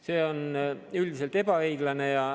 See on üldiselt ebaõiglane.